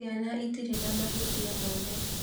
Ciana itirĩ na mahĩtia mothe